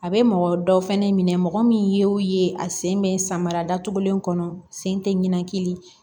A bɛ mɔgɔ dɔw fɛnɛ minɛ mɔgɔ min ye a sen bɛ samara datugulen kɔnɔ sen tɛ ɲinan kelen